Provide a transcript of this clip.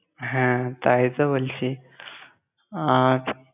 হ্যাঁ, তাই তো বলছি আর।